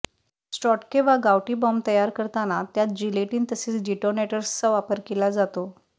स्ङ्गोटके वा गावठी बॉम्ब तयार करताना त्यात जिलेटीन तसेच डिटोनेटर्सचा वापर केला जातो